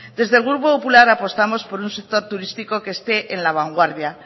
desde el grupo popular apostamos por un sector turístico que esté en la vanguardia